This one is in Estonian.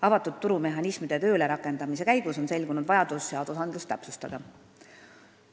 Avatud turu mehhanismide töölerakendamise käigus on selgunud vajadus õigusakte täpsustada.